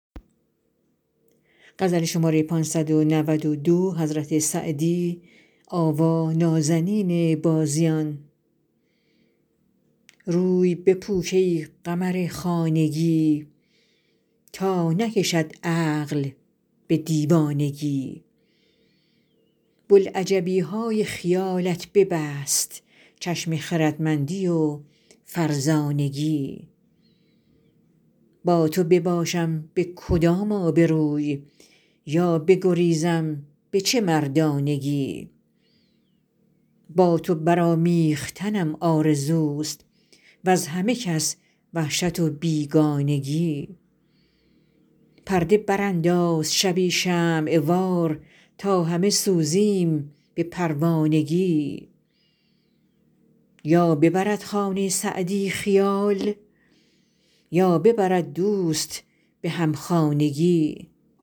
روی بپوش ای قمر خانگی تا نکشد عقل به دیوانگی بلعجبی های خیالت ببست چشم خردمندی و فرزانگی با تو بباشم به کدام آبروی یا بگریزم به چه مردانگی با تو برآمیختنم آرزوست وز همه کس وحشت و بیگانگی پرده برانداز شبی شمع وار تا همه سوزیم به پروانگی یا ببرد خانه سعدی خیال یا ببرد دوست به همخانگی